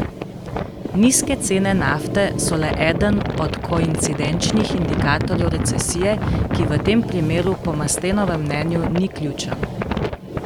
Nizke cene nafte so le eden od koincidenčnih indikatorjev recesije, ki v tem primeru po Mastenovem mnenju ni ključen.